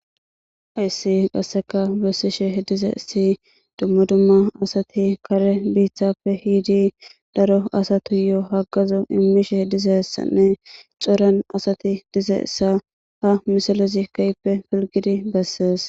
Hays qaseka besishe dizays dumma dumma asat kare bittappe yiid daro asatuyo hagazo imishe dizaysanne coran asat dizaysa ha misilez keehippe pilgid beses.